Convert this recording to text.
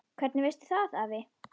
Hvernig veistu það afi?